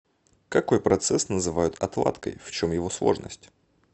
какой процесс называют отладкой в чем его сложность